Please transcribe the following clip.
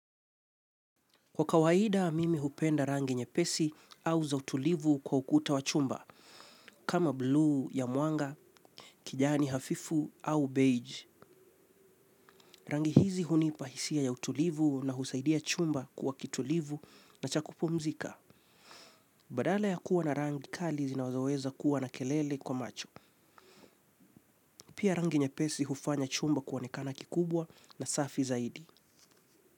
Kwa kawaida mimi hupenda rangi nyepesi au za utulivu kwa ukuta wa chumba, kama buluu ya mwanga, kijani hafifu au beige. Rangi hizi huni pahisia ya utulivu na husaidia chumba kuwa kitulivu na chaku pumzika. Badala ya kuwa na rangi kali zinazoweza kuwa na kelele kwa macho. Pia rangi nyepesi hufanya chumba kuonekana kikubwa na safi zaidi.